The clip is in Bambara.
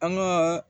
An ka